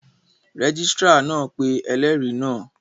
Rẹ́gísírà náà pé ẹlẹ́rìí náà